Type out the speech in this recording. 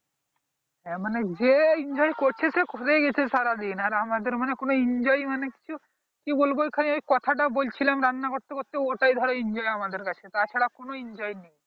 এই মানে যেই enjoy করছে সে করেই যাচ্ছে সারা দিন আর আমাদের মনে enjoy মানে কিছু কি বলবো ওখানে ওই কথা টা বলছিলাম রান্না করতে করতে ওটাই ধর enjoy আমাদের কাছে তা ছাড়া কোনো enjoy নেই